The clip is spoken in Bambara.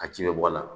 A ji bɛ bɔ a la